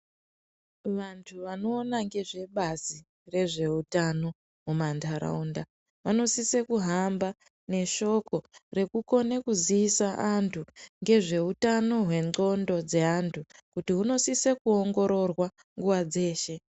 Vanthu vanoona ngezvebazi rezveutana mumantharaunda vanosise kuhamba neshoko rekukona kuziisa anthu ngezveutano wendxondo dzeanthu kuti hunosise kuongororwa nguwa dzeshe.